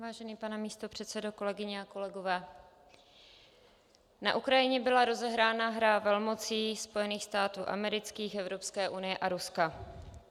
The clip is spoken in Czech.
Vážený pane místopředsedo, kolegyně a kolegové, na Ukrajině byla rozehrána hra velmocí Spojených států amerických, Evropské unie a Ruska.